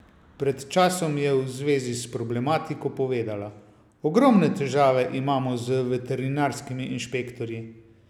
Pred časom je v zvezi s problematiko povedala: "Ogromne težave imamo z veterinarskimi inšpektorji.